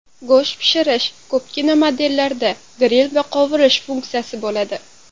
Go‘sht pishirish Ko‘pgina modellarda gril va qovurish funksiyasi bo‘ladi.